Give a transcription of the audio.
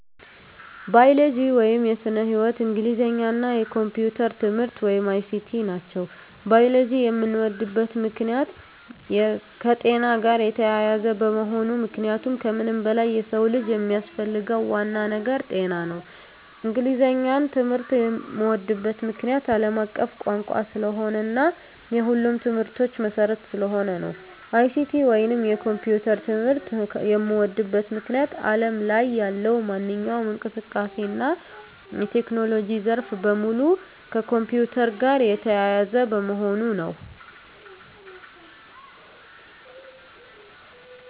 ባዮሎጂ (ስነ-ህይዎት)፣ እንግሊዘኛ እና የኮምፒዩተር ትምህርት(ICT) ናቸው። ባዮሎጂን የምወድበት ምክንያት - የከጤና ጋር የተያያዘ በመሆኑ ምክንያቱም ከምንም በላይ የሰው ልጅ የሚያስፈልገው ዋናው ነገር ጤና ነው። እንግሊዘኛን ትምህርት የምዎድበት ምክንያት - አለም አቀፍ ቋንቋ ስለሆነ እና የሁሉም ትምህርቶች መሰረት ስለሆነ ነው። ICT ወይንም የኮምፒውተር ትምህርት የምዎድበት ምክንያት አለም ላይ ያለው ማንኛውም እንቅስቃሴ እና የቴክኖሎጂ ዘርፍ በሙሉ ከኮምፒውተር ጋር የተያያዘ በመሆኑ ነው።